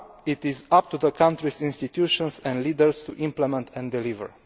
Now it is up to the country's institutions and leaders to implement and deliver.